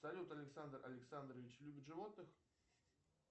салют александр александрович любит животных